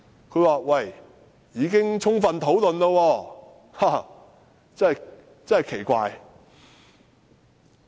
它說已經過充分討論，這真是很奇怪！